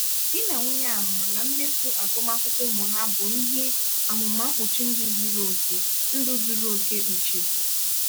di na nwunye a hụrụ na mmefu agụmakwụkwọ ụmụ ha bụ ihe amụma mkpuchi ndụ zuru oke ndụ zuru oke kpuchiri.